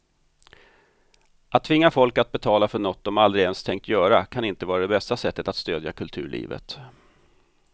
Att tvinga folk att betala för något de aldrig ens tänkt göra kan inte vara det bästa sättet att stödja kulturlivet.